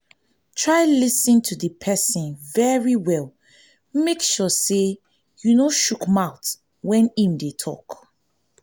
try lis ten to di persin very well make sure say you no shook mouth when im de talk